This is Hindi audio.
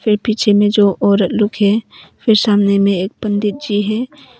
फिर पीछे में जो औरत लुक है फिर सामने में एक पंडित जी है।